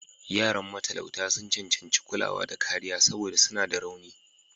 Yaran matalauta sun cancanci kulawa da kariya saboda suna da rauni.